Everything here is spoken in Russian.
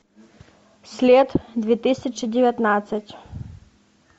след две тысячи девятнадцать